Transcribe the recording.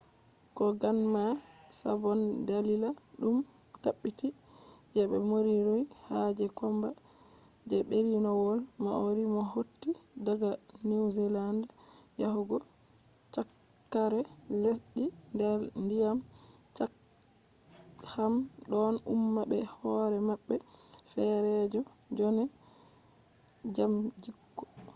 koganma sabon dalila ɗum tabbiti je moriori ha je komba je berniwol maori mo hotti daga niwzealand yahugo cakkare lesdi nder ndiyam chatham ɗon umma be hoore maɓɓe feerejo jonde jam gikku